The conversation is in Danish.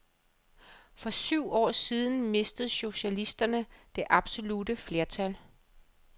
For syv år siden mistede socialisterne det absolutte flertal.